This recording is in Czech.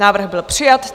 Návrh byl přijat.